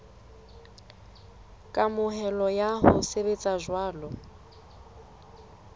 kamohelo ya ho sebetsa jwalo